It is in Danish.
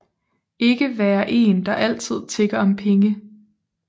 Ikke være en der altid tigger om penge